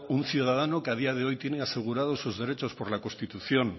un ciudadano que a día de hoy tiene asegurados sus derechos por la constitución